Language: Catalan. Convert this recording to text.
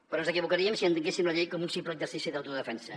però ens equivocaríem si entenguéssim la llei com un simple exercici d’autodefensa